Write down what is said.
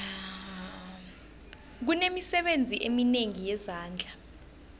kunemisebenzi eminengi yezandla